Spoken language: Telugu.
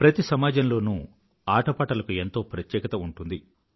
ప్రతి సమాజంలోనూ ఆటపాటల కు ఎంతో ప్రత్యేకత ఉంటుంది